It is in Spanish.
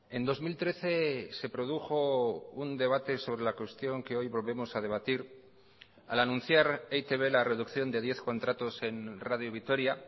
en dos mil trece se produjo un debate sobre la cuestión que hoy volvemos a debatir al anunciar e i te be la reducción de diez contratos en radio vitoria